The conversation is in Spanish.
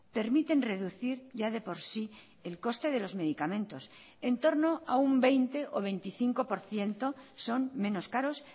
permiten reducir ya de por sí el coste de los medicamentos en torno a un veinte o veinticinco por ciento son menos caros